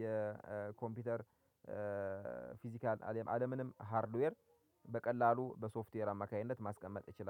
የኮምፒውተር ፊዚካል አለምንም ሃርድዌር በቀላሉ በሶፍትዌር አማካኝነት ማስቀመጥ ይችላል